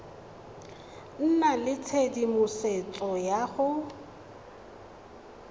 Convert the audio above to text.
nna le tshedimosetso ya go